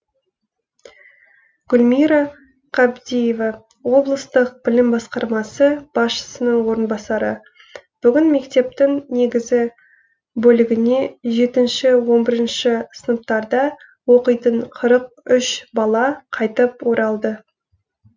гүлмира қабдиева облыстық білім басқармасы басшысының орынбасары бүгін мектептің негізгі бөлігіне жетінші он бірінші сыныптарда оқитын қырық үш бала қайтып оралды